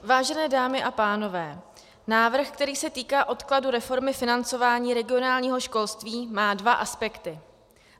Vážené dámy a pánové, návrh, který se týká odkladu reformy financování regionálního školství, má dva aspekty.